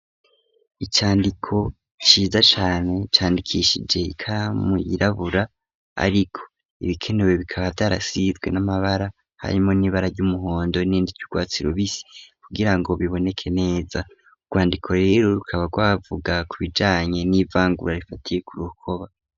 Icandiko ciza cane candikishije ika muyirabura ariko ibikenewe bikaba byarasizwe n'amabara harimo n'ibara ry'umuhondo nindi ty'urwatsirubisi kugirango biboneke neza urwandiko rero rukaba rwavuga ku bijanye n'ivangura rifatiye ku rukoba.